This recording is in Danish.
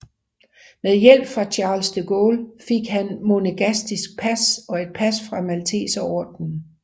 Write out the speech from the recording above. Med hjælp fra Charles de Gaulle fik han monegaskisk pas og et pas fra Malteserordenen